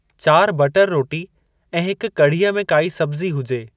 चारि बटर रोटी ऐं हिक कढ़ीअ में काई सब्ज़ी हुजे ।